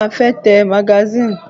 Bẹ́ẹ̀ni, mo fẹ́ tẹ magasínì.